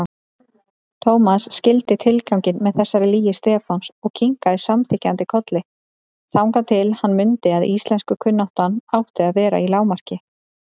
Thomas skildi tilganginn með þessari lygi Stefáns og kinkaði samþykkjandi kolli, þangað til hann mundi að íslenskukunnáttan átti að vera í lágmarki.